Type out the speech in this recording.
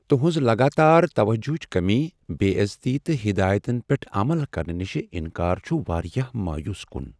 تہنٛز لگاتار توجہچ کمی، بے عزتی، تہٕ ہدایتن پیٹھ عمل کرنہٕ نش انکار چھ واریاہ مایوس کن۔